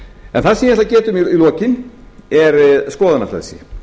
en það sem ég ætla að geta um í lokin er skoðanafrelsi